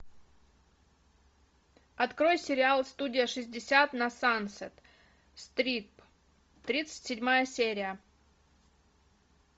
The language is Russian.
открой сериал студия шестьдесят на сансет стрит тридцать седьмая серия